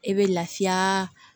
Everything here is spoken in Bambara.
E bɛ lafiya